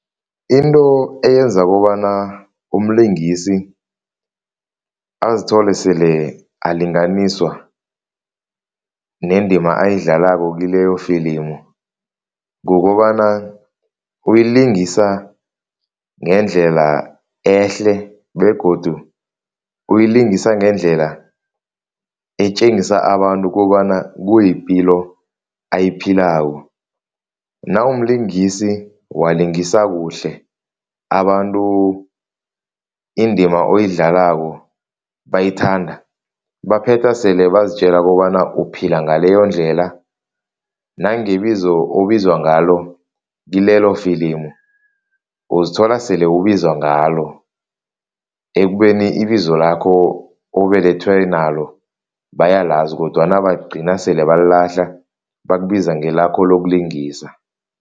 Into eyenza kobana umlingisi azithole sele alinganiswa nendima ayidlalako kileyo wefilimu kukobana, uyilingisa ngendlela ehle begodu uyilingisa ngendlela etjengisa abantu kobana kuyipilo abayiphilako. Nawumlingisi walingisa kuhle, abantu indima oyidlalako bayithanda, baphetha sele bazitjela kobana uphila ngaleyondlela nangebizo obizwa ngalo kilelo wefilimu, uzithola sele ubizwa ngalo ekubeni ibizo lakho obelethwe nalo bayalazi kodwana bagcina sele balilahla bakubiza ngelakho lokulinganisa.